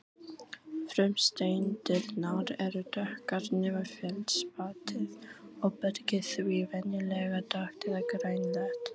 Frumsteindirnar eru dökkar nema feldspatið og bergið því venjulega dökkt eða grænleitt.